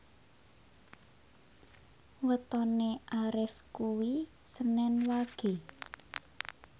wetone Arif kuwi senen Wage